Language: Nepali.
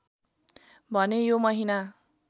भने यो महिना